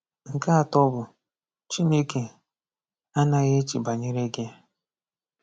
Nke atọ bụ: Chineke anaghị eche banyere gị.